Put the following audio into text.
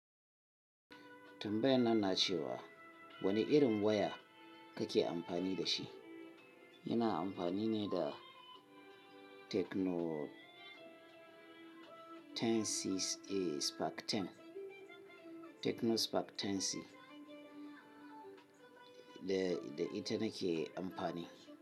Tambayan nan na ce wa wane irin waya kake amfani da shi? Yana amfani ne da Techno Spark 10C da ita na ke amfani.